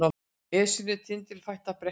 Esjunnar tindilfætta bretti